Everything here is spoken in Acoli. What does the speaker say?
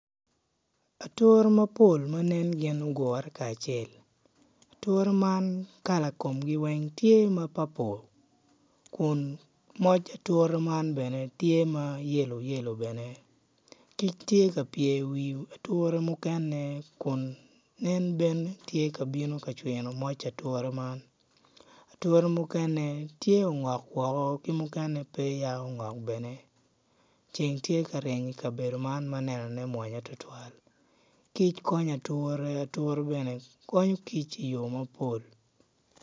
Atura mapol ma nen gin ogure kacel atura man kala komgi tye ma papul kun moc atura man tye ma yelo yelo kic tye ka pye iwi atura mukene kun en bene tye ka bino ka cwino moc atura man atura mukene tye ma ongok woko ki mukene peya ongok bene ceng tye ka ryeny ikabedo man ma nenone mwonya tutwal kic kkonyo atura atura bene konyo kic iyo mapol.